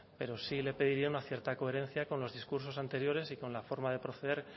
pero sí le pediría una cierta coherencia con los discursos anteriores y con la forma de proceder